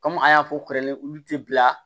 Kɔmi an y'a fɔ kɛrɛnkɛrɛnnen olu tɛ bila